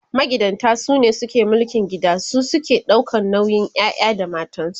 magidanta sune ke mulkin gida su suke ɗaukan nauyin ƴaƴa da matansu